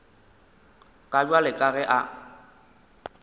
ka bjale ka ge a